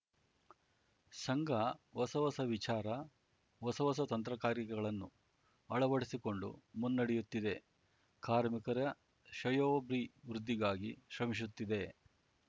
ಸಂಘ ಹೊಸ ಹೊಸ ವಿಚಾರ ಹೊಸ ಹೊಸ ತಂತ್ರಗಾರಿಕೆಗಳನ್ನು ಅಳವಡಿಸಿಕೊಂಡು ಮುನ್ನಡೆಯುತ್ತಿದೆ ಕಾರ್ಮಿಕರ ಶ್ರೇಯೋಭಿವೃದ್ಧಿಗಾಗಿ ಶ್ರಮಿಸುತ್ತಿದೆ